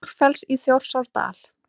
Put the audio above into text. Búrfells í Þjórsárdal.